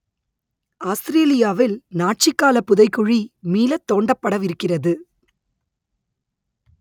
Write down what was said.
ஆஸ்திரேலியாவில் நாட்சி கால புதைகுழி மீளத் தோண்டப்படவிருக்கிறது